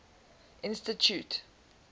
institute